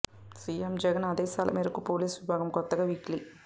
CM Jagan ఆదేశాల మేరకు పోలీసు విభాగం కొత్తగా వీక్లీ